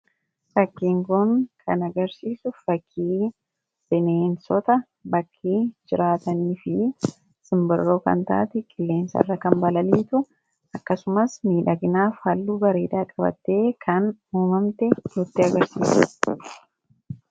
Fakiin Kun kan inni agarsiisu fakii bineensota bakkee jiraatanis fi simbirroo kan taate samii irra balaliitu akkasumas miidhagina fi halluu bareedaa kan qabaatte kan nutti agarsiisudha.